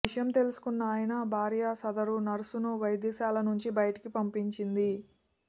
ఈ విషయం తెలుసుకున్న ఆయన భార్య సదరు నర్సును వైద్యశాలనుంచి బయటకు పంపించింది